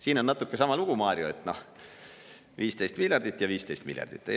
Siin on natuke sama lugu, Mario, et, noh, 15 miljardit eurot ja 15 miljardit eurot.